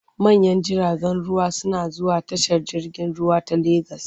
Manyan jiragen ruwa suna zuwa tashar jirgin ruwa ta Legas.